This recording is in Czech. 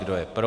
Kdo je pro?